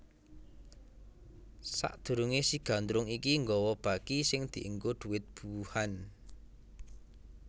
Sadurunge si Gandrung iki nggawa baki sing dienggo dhuwit buwuhan